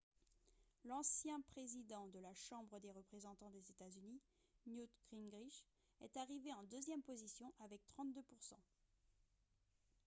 l'ancien président de la chambre des représentants des états-unis newt gingrich est arrivé en deuxième position avec 32 %